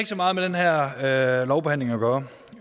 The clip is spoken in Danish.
så meget med den her lovbehandling at gøre